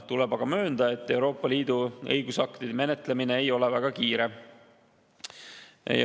Tuleb aga möönda, et Euroopa Liidu õigusaktide menetlemine ei ole väga kiire.